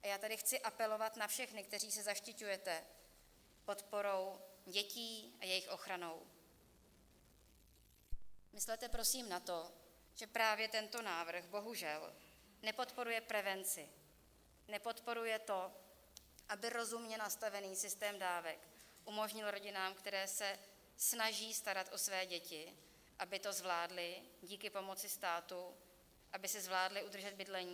A já tady chci apelovat na všechny, kteří se zaštiťujete podporou dětí a jejich ochranou, myslete prosím na to, že právě tento návrh bohužel nepodporuje prevenci, nepodporuje to, aby rozumně nastavený systém dávek umožnil rodinám, které se snaží starat o své děti, aby to zvládly díky pomoci státu, aby si zvládly udržet bydlení.